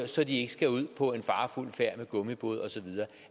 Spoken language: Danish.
så de ikke skal ud på en farefuld færd med gummibåd og så videre